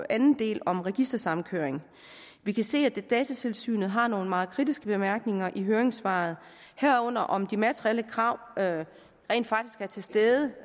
anden del om registersamkøring vi kan se at datatilsynet har nogle meget kritiske bemærkninger i høringssvaret herunder om de materielle krav rent faktisk er til stede